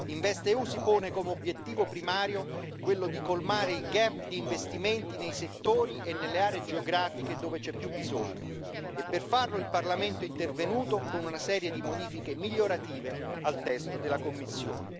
InvestEU si pone come obiettivo primario quello di colmare il gap di investimenti nei settori e nelle aree geografiche dove c'è più bisogno, e per farlo il Parlamento è intervenuto con una serie di modifiche migliorative al testo della Commissione.